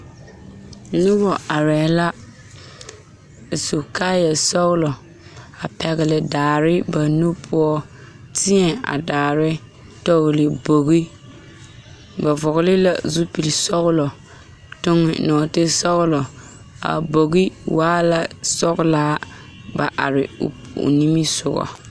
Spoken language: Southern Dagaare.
Noba arɛɛ la a su kaayɛsɔglɔ a pɛgle daare ba nu poɔ teɛ a daare tɔgle bogi ba vɔgle la zupilisɔglɔ toŋe nɔɔtesɔglɔ a bogi waa la sɔglaa ba are o o nimisogɔ.